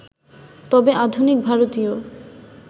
তবে আধুনিক ভারতীয়